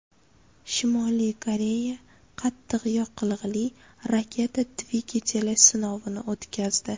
Shimoliy Koreya qattiq yoqilg‘ili raketa dvigateli sinovini o‘tkazdi.